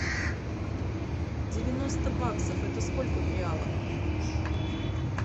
девяносто баксов это сколько в реалах